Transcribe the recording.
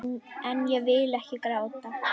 En ég vil ekki gráta.